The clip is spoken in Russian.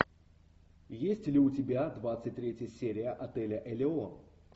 есть ли у тебя двадцать третья серия отеля элеон